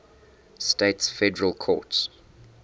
states federal courts